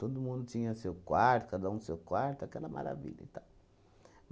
Todo mundo tinha seu quarto, cada um seu quarto, aquela maravilha e tal.